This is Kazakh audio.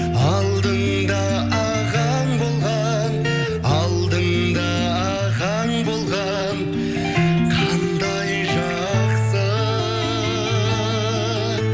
алдыңда ағаң болған алдыңда ағаң болған қандай жақсы